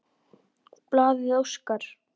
Blaðið óskar